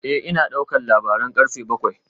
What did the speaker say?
Eh ina daukar labaran karfe bakwai